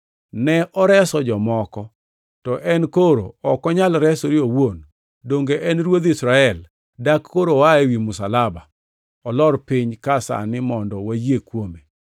“Ne oreso jomoko, to en koro ok onyal resore owuon! Donge en Ruodh Israel? Dak koro oa ewi msalaba olor piny ka sani mondo wayie kuome.